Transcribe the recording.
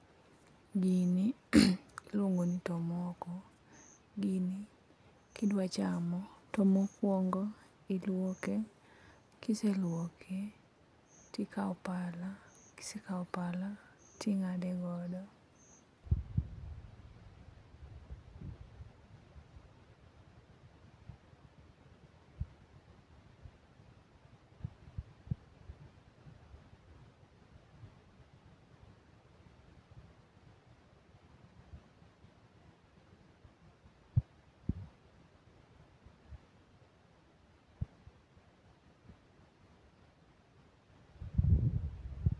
Gini iluongo ni tomoko. Gini kidwa chamo to mokwongo ilwoke kiseluoke tikawo pala kisekawo pala ting'ade godo